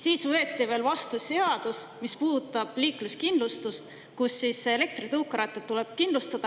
Siis võeti veel vastu seadus, mis puudutab liikluskindlustust: elektritõukerattad tuleb kindlustada.